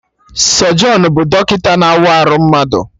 Sọjọnụ bụ dọkịta na-awa arụ mmadụ